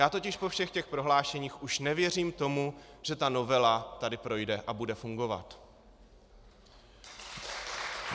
Já totiž po všech těch prohlášeních už nevěřím tomu, že ta novela tady projde a bude fungovat.